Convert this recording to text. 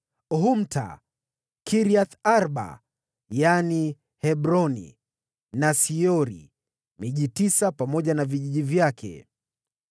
Humta, Kiriath-Arba (yaani Hebroni), na Siori; miji tisa pamoja na vijiji vyake.